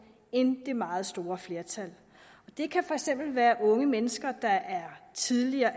end det meget store flertal det kan for eksempel være unge mennesker der er tidligere